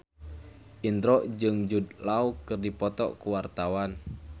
Indro jeung Jude Law keur dipoto ku wartawan